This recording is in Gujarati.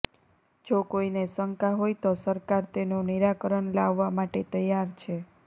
જો કોઈને શંકા હોય તો સરકાર તેનું નિરાકરણ લાવવા માટે તૈયાર છે